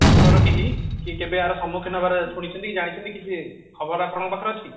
ଘରର କେହି କି କେବେ ଏହାର ସାମର୍ଥ୍ୟ ନେବାର ଶୁଣିଛନ୍ତି କି ଜାଣିଛନ୍ତି କିଛି ଖବର ଆପଣଙ୍କ ପାଖରେ ଅଛି କି